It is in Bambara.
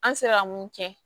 An sera mun kɛ